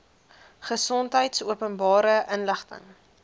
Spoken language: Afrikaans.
gesondheid openbare inligting